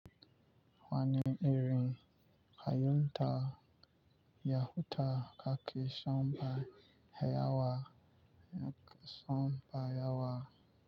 Wani irin kayan ta, ya huta kake son ba yawa, son ba yawa.